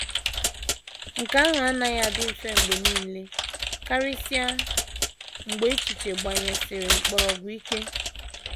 Nke ahụ anaghị adị mfe mgbe nile, karịsịa mgbe echiche gbanyesiri mkpọrọgwụ ike.